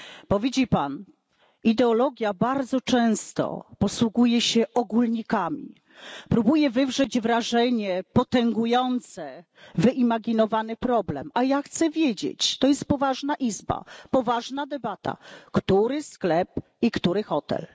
Bo widzi Pan, ideologia bardzo często posługuje się ogólnikami, próbuje wywrzeć wrażenie potęgujące wyimaginowany problem, a ja chcę wiedzieć, to jest poważna izba, to jest poważna debata, który sklep i który hotel.